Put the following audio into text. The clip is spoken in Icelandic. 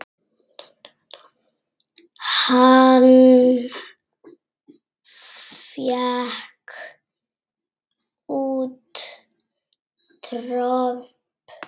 Hann fékk út tromp.